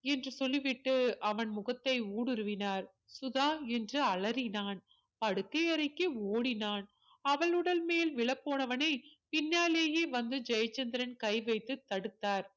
என்று சொல்லி விட்டு அவன் முகத்தை ஊடுருவினார் சுதா என்று அலறினான் படுக்கையறைக்கு ஓடினான் அவள் உடல் மேல் விழப் போனவனை பின்னாலேயே வந்து ஜெயச்சந்திரன் கை வைத்து தடுத்தார்